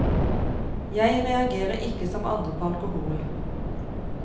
Jeg reagerer ikke som andre på alkohol.